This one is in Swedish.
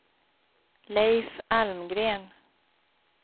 Leif Almgren